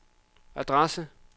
adresse